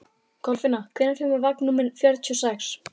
Kolfinna, hvenær kemur vagn númer fjörutíu og sex?